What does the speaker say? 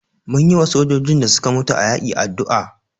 Mun yiwa sojojin da suka mutu a yaƙi addu'a.